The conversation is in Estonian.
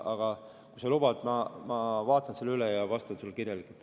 Aga kui sa lubad, siis ma vaatan selle üle ja vastan sulle kirjalikult.